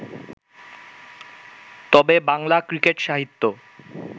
তবে বাংলা ক্রিকেট-সাহিত্য